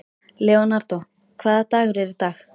Leonardó, hvaða dagur er í dag?